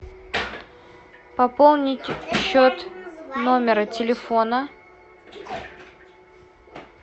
пополнить счет номера телефона